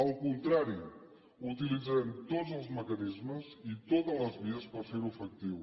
al contrari utilitzarem tots els mecanismes i totes les vies per fer ho efectiu